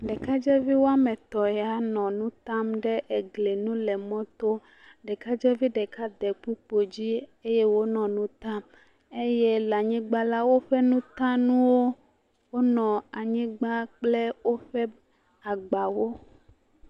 Ɖekadzeviwo wɔme etɔ̃ ya nɔ enu tam ɖe egli nu le mɔto. Ɖekadzevi ɖeka de kpukpoe dzi eye wonɔ nu tam. Eye le anyigba la woƒe nutanuwo wonɔ anyigba kple woƒe agbawo.